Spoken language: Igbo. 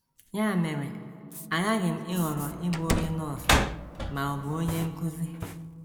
Ya mere, aghaghị m ịhọrọ ịbụ onye nọọsụ ma ọ bụ onye nkụzi.